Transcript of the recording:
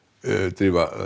drífa